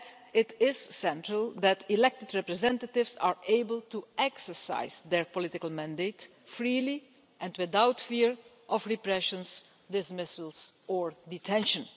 It is central that elected representatives are able to exercise their political mandate freely and without fear of repression, dismissal or detention.